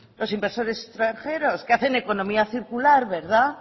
los inversores extranjeros que hacen economía circular verdad